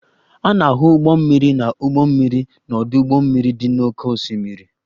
A na-ahụ ụgbọ mmiri na ụgbọ mmiri n'ọdụ ụgbọ mmiri dị n'oké osimiri.